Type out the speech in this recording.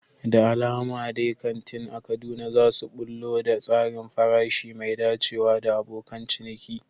Da alama dai kantin a Kaduna za su ɓullo da tsarin farashi mai dacewa da abokan ciniki.